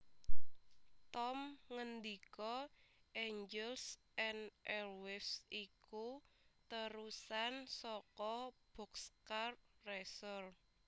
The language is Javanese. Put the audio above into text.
Tom ngendika Angels and Airwaves iku térusan saka Boxcar Racer